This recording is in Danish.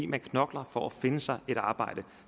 man knokler for at finde sig et arbejde